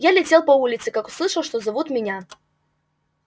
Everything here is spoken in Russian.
я летел по улице как услышал что зовут меня